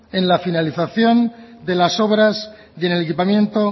en la finalización de las obras y en el equipamiento